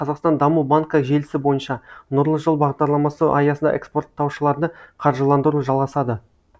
қазақстан даму банкі желісі бойынша нұрлы жол бағдарламасы аясында экспорттаушыларды қаржыландыру жалғасады